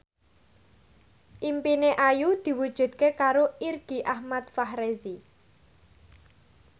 impine Ayu diwujudke karo Irgi Ahmad Fahrezi